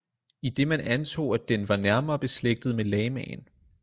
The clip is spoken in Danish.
Idet man antog at den var nærmere beslægtet med lamaen